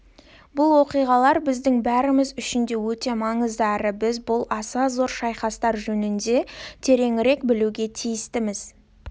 бұл оқиғалар біздің бәріміз үшін де өте маңызды әрі біз бұл аса зор шайқастар жөнінде тереңірек білуге тиістіміз